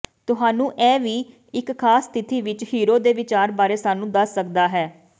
ਤੁਹਾਨੂੰ ਇਹ ਵੀ ਇੱਕ ਖਾਸ ਸਥਿਤੀ ਵਿਚ ਹੀਰੋ ਦੇ ਵਿਚਾਰ ਬਾਰੇ ਸਾਨੂੰ ਦੱਸ ਸਕਦਾ ਹੈ